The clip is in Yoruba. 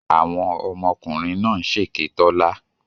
Àwọn ọmọkùnrin náà ń ṣèké Tọ́lá.